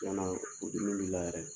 cɛnna o dimi b'i la yɛrɛ